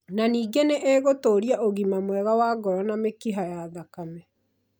Na ningĩ nĩ ĩgũtũũria ũgima mwega wa ngoro na mĩkiha ya thakame.